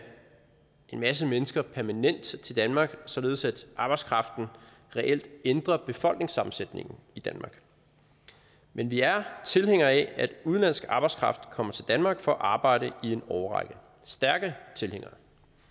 en masse mennesker permanent til danmark således at arbejdskraften reelt ændrer befolkningssammensætningen i danmark men vi er tilhængere af at udenlandsk arbejdskraft kommer til danmark for at arbejde i en årrække stærke tilhængere